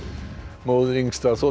móðir yngsta